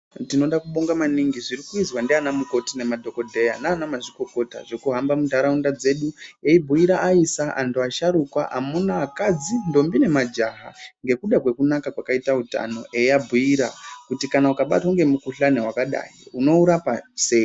Tinoda kubonga maningi zviri kuizwa ndanamukoti nemadhokodheya nanamazvikokota zvekuhamba mundaraunda dzedu eibhuyira aisa , antu asharuka amunakadzi , ndombi nemajaha ngekuda kwekunaka kwakaita utano eiabhuyira kuti kana ukabatwa ngemukuhlani wakadai unourapa sei?